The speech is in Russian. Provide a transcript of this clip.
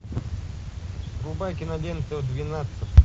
врубай киноленту двенадцать